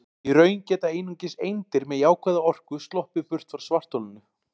Í raun geta einungis eindir með jákvæða orku sloppið burt frá svartholinu.